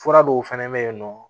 Fura dɔw fɛnɛ bɛ yen nɔ